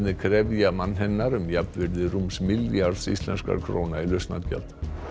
krefja mann hennar um jafnvirði rúms milljarðs íslenskra króna í lausnargjald